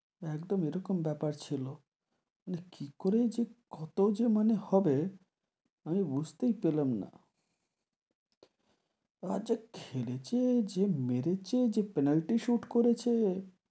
একদম, এরকম বেপার ছিল, মানে কি করে যে কত যে মানে হবে, আমি বুঝতে পেলাম না, আর যা খেলেছে, যা মেরেছে, যে penalty shot করেছে,